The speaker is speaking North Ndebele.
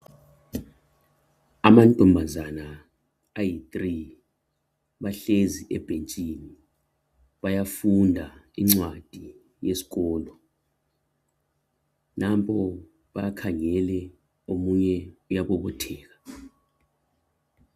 Amantombazana amathathu bahlezi ebhentshini bayafunda incwadi yesikolo nampo bakhangele omunye uyabobotheka.